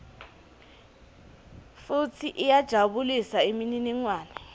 futsi iyajabulisa imininingwane